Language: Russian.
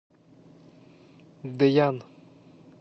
дэян